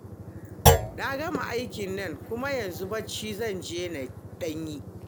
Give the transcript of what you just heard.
Na gama aikin nan kuma, yanzu bacci zan je na ɗan yi